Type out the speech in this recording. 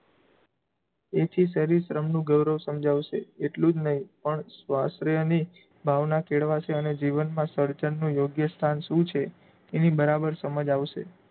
એથી શરીરશ્રમ નું ગૌરવ સમજાવશે એટલુ જ નહીં પણ સ્વાસ્ત્રયાની ની ભાવના કેળવાશે અને જીવનમાં સર્જનનું યોગ્ય સ્થાન શું છે? એની બરાબર સમજ આવશે.